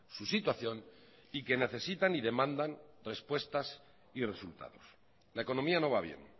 su situación y que necesitan y demandan respuestas y resultados la economía no va bien